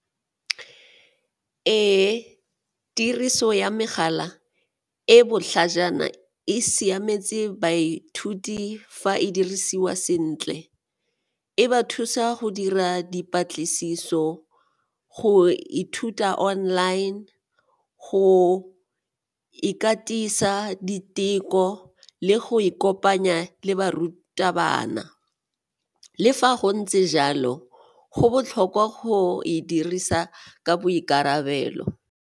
Ee, tiriso ya mogala e botlhajana e siametse baithuti fa e dirisiwa sentle, e ba thusa go dira dipatlisiso, go ithuta online, go ikatisa diteko le go ikopanya le barutabana. Le fa go ntse jalo, go botlhokwa go e dirisa ka boikarabelo.